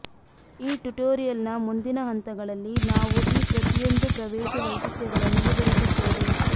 ಈ ಟ್ಯುಟೋರಿಯಲ್ನ ಮುಂದಿನ ಹಂತಗಳಲ್ಲಿ ನಾವು ಈ ಪ್ರತಿಯೊಂದು ಪ್ರವೇಶ ವೈಶಿಷ್ಟ್ಯಗಳನ್ನು ವಿವರಿಸುತ್ತೇವೆ